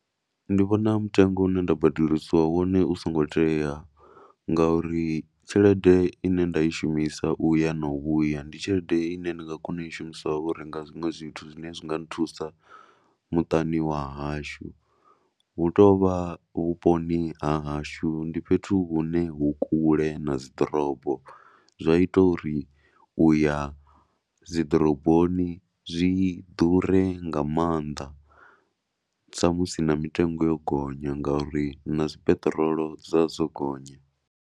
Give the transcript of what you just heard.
Ndi vhona mutengo une nda badeliswa wone u songo tea ngauri tshelede i ne nda i shumisa u ya na u vhuya ndi tshelede i ne ndi nga kona u i shumisa u renga zwiṅwe zwithu zwine zwi nga nthusa muṱani wa hashu. Hu tou vha vhuponi ha hashu ndi fhethu hune hu kule na dzi ḓorobo zwa ita uri u ya dzi ḓoroboni zwi ḓure ga maanḓa sa musi na mitengo yo gonya ngauri na dzi peṱirolo dza dzo gonya.